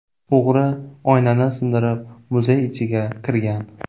O‘g‘ri oynani sindirib muzey ichiga kirgan.